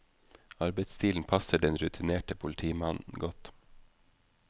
Arbeidsstilen passer den rutinerte politimannen godt.